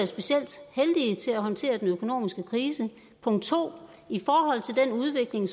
specielt heldig til at håndtere den økonomiske krise punkt 2 i forhold til den udvikling